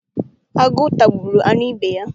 Agụ tagburu anụ ibe ya.